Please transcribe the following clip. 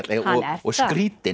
og skrýtinn